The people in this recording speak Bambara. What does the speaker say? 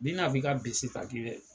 N'i na f'i ka bese ta k'i bɛ